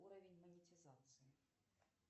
уровень монетизации